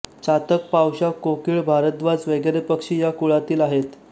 चातक पावशा कोकिळ भारद्वाज वगैरे पक्षी या कुळातील आहेत